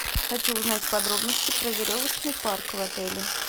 хочу узнать подробности про веревочный парк в отеле